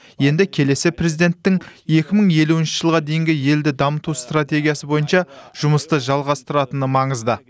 енді келесі президенттің екі мың елуінші жылға дейінгі елді дамыту стратегиясы бойынша жұмысты жалғастыратыны маңызды